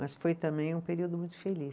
Mas foi também um período muito feliz.